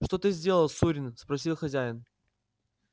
что ты сделал сурин спросил хозяин